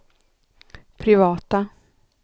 privata